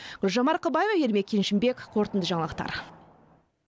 гүлжан марқабаева ермек кеншімбек қорытынды жаңалықтар